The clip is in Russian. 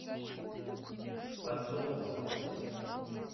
подзолкова